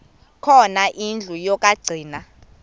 khona indlu yokagcina